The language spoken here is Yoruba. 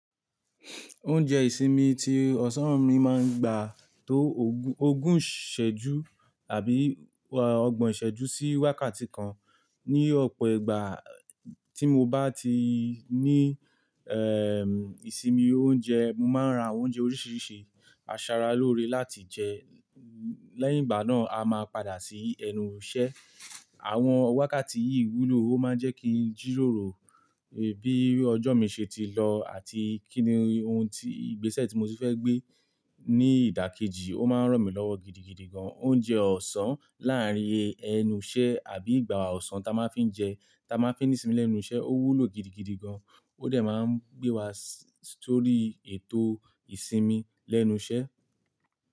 Oúnjẹ ìsinmi tí ọ̀sán mi máa ń gbà tó ogún, ogún ìṣẹ́jú àbí ọgbọ̀n ìṣẹ́jú sí wákàtí kan. Ni ọ̀pọ̀ ìgbà tí mo bá ti ní ẹ́ ìsinmi oúnjẹ, mo máa ń ra àwọn oúnjẹ oríṣiríṣi asara lóore láti jẹ. Lẹ́yìn ìgbà náà, a máa padà sí ẹnu ise. Àwọn wákàtí yìí wúlò, ó máa ń jẹ́ kí n jìròrò bí ọjọ́ mi ṣe ti lọ àti kíni ohun tí, ìgbésẹ̀ tí mo tun fẹ́ gbé ní ìdákẹ́jì, ó máa ń ràn mí lọ́wọ́ gidigidi gan. Oúnjẹ ọ̀sán láàárín ẹnu iṣẹ́ àbí ìgbà ọ̀sán ta máa ń fi jẹ, ta máa ń fi sinmi lẹ́nu iṣẹ́, ó wúlò gidigidi gan, ó dẹ̀ máa ń gbé wa sórí ètò ìsinmi lẹ́nu iṣẹ́.